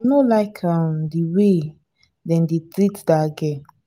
no like um the way dem dey treat dat girl